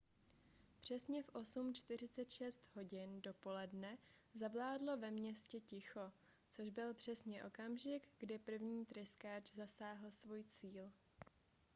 přesně v 8:46 hodin dopoledne zavládlo ve městě ticho což byl přesně okamžik kdy první tryskáč zasáhl svůj cíl